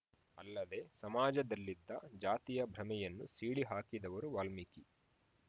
ಅಲ್ಲದೆ ಸಮಾಜದಲ್ಲಿದ್ದ ಜಾತಿಯ ಭ್ರಮೆಯನ್ನು ಸೀಳಿ ಹಾಕಿದವರು ವಾಲ್ಮಿಕಿ